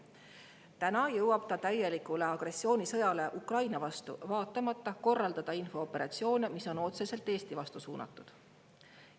Täna jõuab ta vaatamata täielikule agressioonisõjale Ukraina vastu korraldada infooperatsioone, mis on otseselt Eesti vastu suunatud.